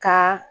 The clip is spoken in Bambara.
Ka